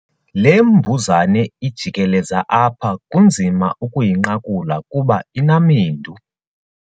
Le mbuzane ijikeleza apha kunzima ukuyinqakula kuba inamendu.